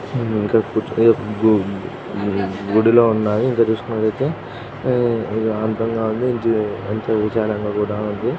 హ్మ్ ఇంకా గు గూ గుడిలో ఉన్నాయి. ఇంక చూస్కున్నట్టైతే ఆ అర్దం కాక ఇంక ఎంతో విచారంగా కూడా ఉంది.